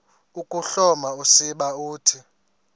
ukuhloma usiba uthi